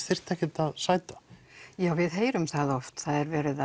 þyrfti ekki að sæta já við heyrum það oft það er verið